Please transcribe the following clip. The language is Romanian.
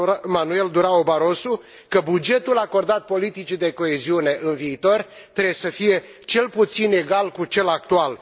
Manuel Durão Barroso că bugetul acordat politicii de coeziune în viitor trebuie să fie cel puțin egal cu cel actual.